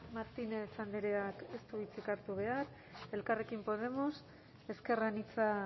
martínez andreak ez du hitzik hartu behar elkarrekin podemos ezker anitza